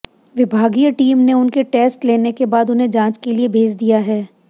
विभागीय टीम ने उनके टेस्ट लेने के बाद उन्हें जांच के लिए भेज दिया है